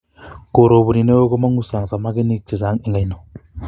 koroboni neo komongu sang samakinik chechang eng oino